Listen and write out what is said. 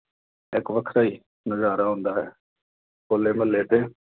ਇੱਕ ਵੱਖਰਾ ਹੀ ਨਜ਼ਾਰਾ ਹੁੰਦਾ। ਹੋਲਾ-ਮਹੱਲੇ ਤੇ